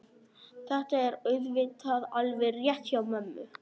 Þetta er auðvitað alveg rétt hjá mömmu.